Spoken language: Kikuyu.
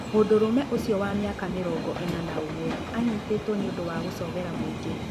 Mũndũrũme ũcio wa mĩaka mĩrongo ĩna na ũmwe anyitĩtũo nĩũndũ wa gũcogera mũingĩ